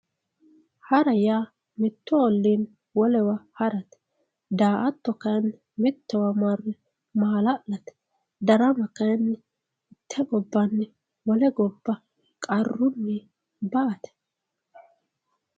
hara yaa mittu olliinni wolewa harate daa''ato kayiinni mittowa marre maala'late darama kayiinni mitte gobbanni wole gobba qarrunni ba''ate.